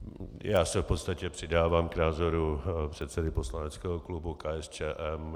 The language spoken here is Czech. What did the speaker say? Já se v podstatě přidávám k názoru předsedy poslaneckého klubu KSČM.